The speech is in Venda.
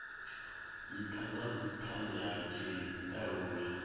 ntha nga nthani ha tshitalula